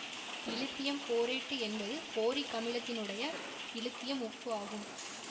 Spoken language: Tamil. இலித்தியம் போரேட்டு என்பது போரிக் அமிலத்தினுடைய இலித்தியம் உப்பு ஆகும்